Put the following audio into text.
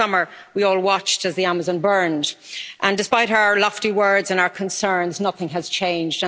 Last summer we all watched as the Amazon burned, and despite our lofty words and our concerns, nothing has changed.